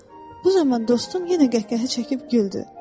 Bu zaman dostum yenə qəhqəhə çəkib güldü.